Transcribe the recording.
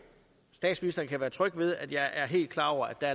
statsministeren kan være tryg ved at jeg er helt klar over at der